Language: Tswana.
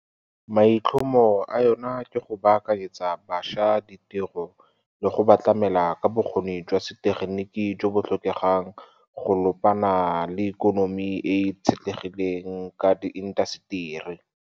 maitlhomo a yona ke go baakanyetsa bašwa ditiro le go ba tlamela ka bokgoni jwa setegeniki jo bo tlhokegang go ka lopana le ikonomi e e itshetlegileng ka diintaseteri.